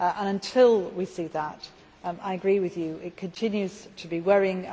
Until we see that, I agree with you that it continues to be worrying.